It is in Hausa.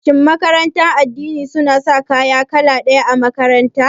Shin makarantar addini suna sa kaya kala ɗaya a makaranta?